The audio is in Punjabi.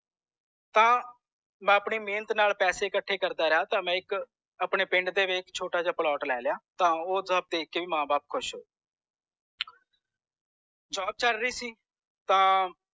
ਤਾਂ ਮੈਂ ਆਪਣੀ ਮੇਹਨਤ ਨਾਲ ਪੈਸੇ ਕਥੇ ਕਰਦਾ ਰਿਹਾ ਤਾ ਮੈਂ ਇਕ ਆਪਣੇ ਪਿੰਡ ਦੇ ਵਿਚ ਛੋਟਾ ਜੇਹਾ plot ਲੈ ਲਿਆ ਤਾਂ ਓਹ ਸਬ ਦੇਖ ਕੇ ਵੀ ਮਾਂ ਬਾਪ ਬੋਹੋਤ ਖੁਸ਼ ਹੋਏ job ਚਲ ਰੀ ਸੀ ਤਾਂ